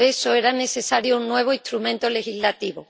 por eso, era necesario un nuevo instrumento legislativo.